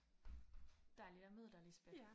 Dejligt at møde dig Lisbeth